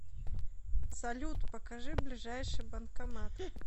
салют покажи ближайший банкомат